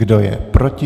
Kdo je proti?